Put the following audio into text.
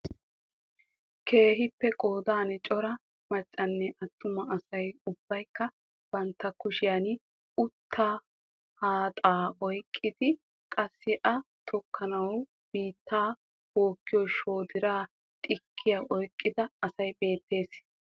Keehiippe qoodan cora maccanne attuma asay ubbaykka bantta kushshiyan uuttaa haaxxaa oyqqidi qassi a tokkanawu biittaa bookkiyo shoodira, xiikkiya oyqqida asay beettees.